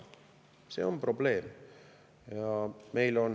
See on probleem.